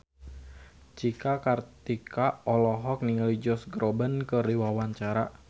Cika Kartika olohok ningali Josh Groban keur diwawancara